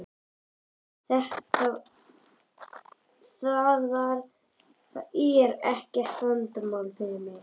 Það er ekkert vandamál fyrir mig.